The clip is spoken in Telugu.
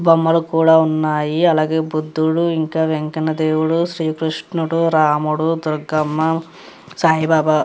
బొమ్మలు కూడా ఉన్నాయి. అలాగే బుద్దుడు ఇంకా వెంకన్న దేవుడు శ్రీ కృష్ణుడు రాముడుదుర్గమ్మ సాయి బాబా --